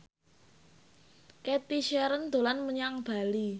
Cathy Sharon dolan menyang Bali